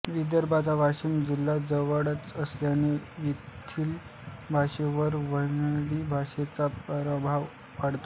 विदर्भाचा वाशिम जिल्हा जवळच असल्याने येथिल भाषेवर वऱ्हाडी भाषेचा प्रभाव आढळतो